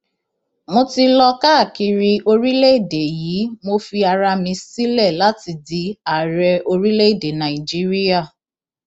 mo ti lọ káàkiri orílẹèdè yìí mo fi ara mi sílẹ láti di ààrẹ orílẹèdè nàíjíríà